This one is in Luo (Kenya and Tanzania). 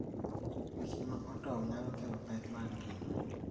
Gik ma otow nyalo kelo pek mag ngima.